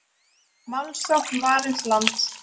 Málsókn Varins lands